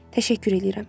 Təşəkkür eləyirəm.